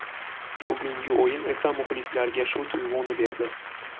Bugungi o‘yin esa muxlislarga shu tuyg‘uni berdi.